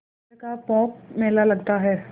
तरह का पोंख मेला लगता है